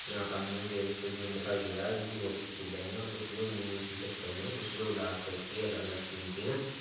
यहाँ पर हमे स्टेडियम दिखाई दे रहा है जो की हॉकी खेल रहे हैं और कुछ लोग नीली टी शर्ट पहने है और कुछ लोग लाल शर्ट की अलग-अलग टीम के है।